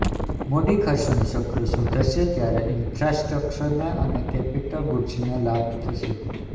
મૂડીખર્ચનું ચક્ર સુધરશે ત્યારે ઇન્ફ્રાસ્ટ્રક્ચર અને કેપિટલ ગૂડ્ઝને લાભ થશે